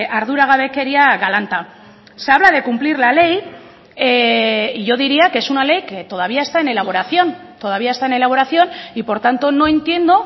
arduragabekeria galanta se habla de cumplir la ley y yo diría que es una ley que todavía está en elaboración todavía está en elaboración y por tanto no entiendo